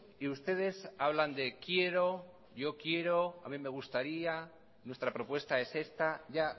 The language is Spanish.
y ustedes hablan de quiero yo quiero a mí me gustaría nuestra propuesta es esta ya